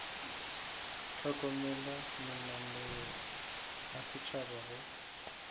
hlokomela mananeo a setšhaba go